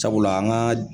Sabula an ka